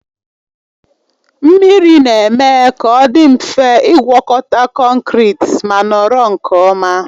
Mmiri na-eme ka ọ dị mfe ịgwọkọta konkịtị ma nọrọ nke ọma.